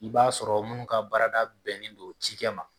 I b'a sɔrɔ munnu ka baarada bɛnnen do cikɛ ma.